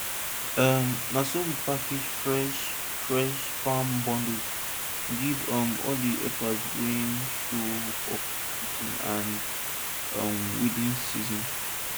um na so we package freshfresh farm bundles give um all di helpers wey show for planting and um weeding season